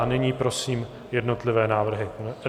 A nyní prosím jednotlivé návrhy.